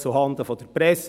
Zuhanden der Presse: